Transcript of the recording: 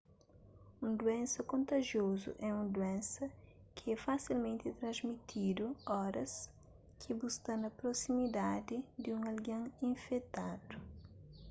un duénsa kontajiozu é un duénsa ki é fasilmenti transmitidu óras ki bu sta na prosimidadi di un algen infetadu